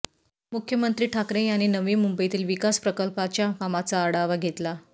मुख्यमंत्री ठाकरे यांनी नवी मुंबईतील विकास प्रकल्पाच्या कामाचा आढावा घेतला